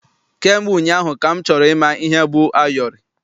Kamgbe ụnyaahụ ka m chọrọ ịma ihe bụ ayọrị.